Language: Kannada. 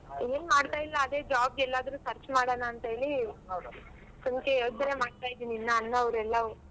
ಏನ್ ಮಾಡ್ತಾ ಇಲ್ಲ ಅದೇ job ಗ್ ಎಲ್ಲಾದ್ರು search ಮಾಡನ ಅಂತ್ ಹೇಳಿ ಸುಮ್ಕೆ ಯೋಚನೆ ಮಾಡ್ತಾ ಇದೀನಿ ಇನ್ನ ಅನ್ನವ್ರೆಲ್ಲವು.